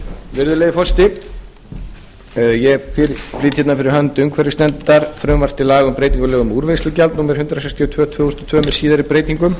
virðulegi forseti ég flyt hérna fyrir hönd umhverfisnefndar frumvarp til laga um breytingu á lögum um úrvinnslugjald númer hundrað sextíu og tvö tvö þúsund og tvö með síðari breytingum